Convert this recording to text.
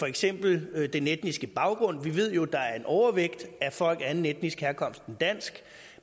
eksempel den etniske baggrund vi ved jo der er en overvægt af folk af anden etnisk herkomst end dansk